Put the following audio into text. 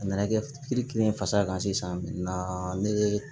A nana kɛ kelen fasa kan sisan bi naani na ne ye